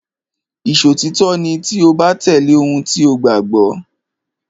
Ìṣòtítọ́ ni tí o bá tẹ̀lé ohun tí o gbàgbọ́.